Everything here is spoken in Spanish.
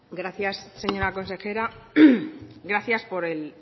gracias señora consejera gracias por el